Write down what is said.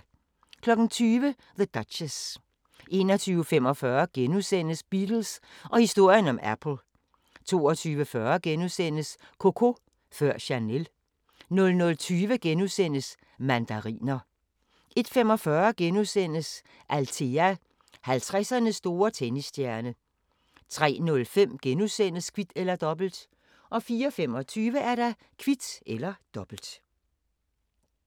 20:00: The Duchess 21:45: Beatles og historien om Apple * 22:40: Coco før Chanel * 00:20: Mandariner * 01:45: Althea: 50'ernes store tennisstjerne * 03:05: Kvit eller Dobbelt * 04:25: Kvit eller Dobbelt